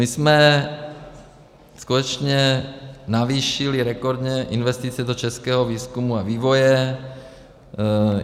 My jsme skutečně navýšili rekordně investice do českého výzkumu a vývoje.